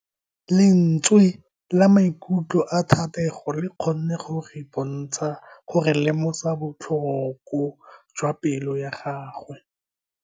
Lentswe la maikutlo a Thatego le kgonne gore re lemosa botlhoko jwa pelo ya gagwe.